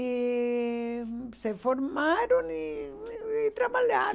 E se formaram e e trabalharam.